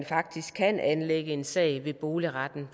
faktisk kan anlægge en sag ved boligretten